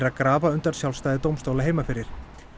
að grafa undan sjálfstæði dómstóla heima fyrir